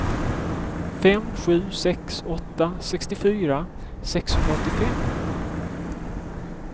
fem sju sex åtta sextiofyra sexhundraåttiofem